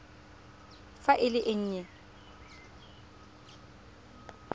fa e le e nnye